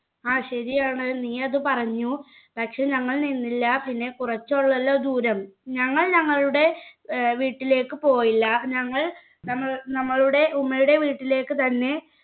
ആ ശരിയാണ് നീയത് പറഞ്ഞു പക്ഷെ ഞങ്ങൾ നിന്നില്ല പിന്നെ കുറച്ചുള്ളൂവല്ലോ ദൂരം ഞങ്ങൾ ഞങ്ങളുടെ ഏർ വീട്ടിലേക്ക് പോയില്ല ഞങ്ങൾ നമ്മ നമ്മളുടെ ഉമ്മയുടെ വീട്ടിലേക്ക് തന്നെ